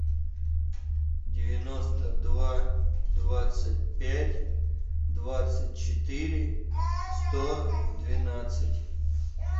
девяносто два двадцать пять двадцать четыре сто двенадцать